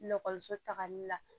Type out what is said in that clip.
Ekɔliso tagali la